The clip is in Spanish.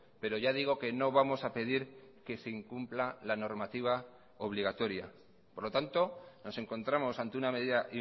pero ya digo que no vamos a pedir que se incumpla la normativa obligatoria por lo tanto nos encontramos ante una medida